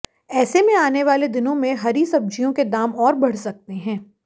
ऐसे में आने वाले दिनों में हरी सब्जियों के दाम और बढ़ सकते हैं